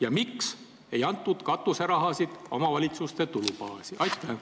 Ja miks ei antud katuserahasid omavalitsuste tulubaasi?